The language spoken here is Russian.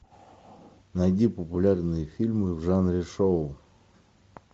найди популярные фильмы в жанре шоу